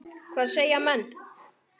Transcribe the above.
Hvað segja menn?